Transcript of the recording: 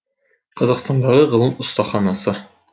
қазақстандағы ғылым ұстаханасы